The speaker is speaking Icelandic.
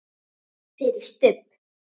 FYRIR STUBB!